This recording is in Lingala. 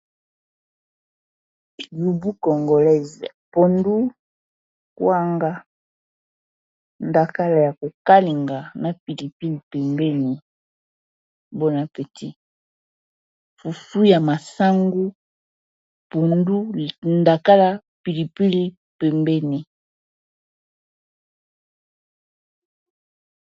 Lubu Congolaise pondu kwanga ndakala ya kokalinga na pilipili pembeni bon apeti fufu ya masangu pondu ndakala pilipili pembeni.